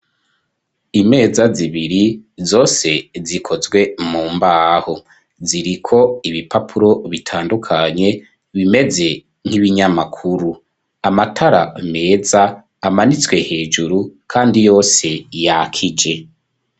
Imeza zibiri zose zikozwe mu mbaho ziriko ibipapuro bitandukanye bimeze nk'ibinyamakuru, amatara meza amanitswe hejuru kandi yose yakije.